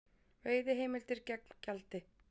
Veiðiheimildir gegn gjaldi